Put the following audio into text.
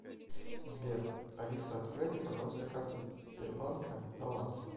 сбер алиса открой мне пожалуйста карту сбербанка баланс